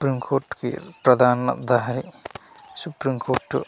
supreme court కి ప్రదానందహరి supreme court --